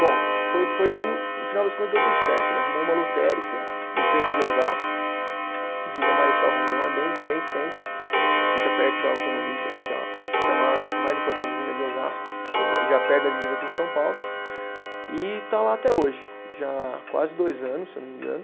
Bom, foi foi dando, no final das contas deu tudo certo, ele arrumou uma lotérica no centro de Osasco, Vida Marechal Rondon, é bem bem centro, fica perto da Autonomista lá que é a, acho que a maior, a mais importante venda de Osasco, já perto da divisa com São Paulo, e está lá até hoje, já há quase dois anos, se eu não me engano.